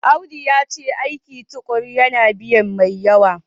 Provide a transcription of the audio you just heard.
Audu yace aiki tukuru yana biya mai yawa.